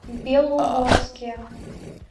белогорске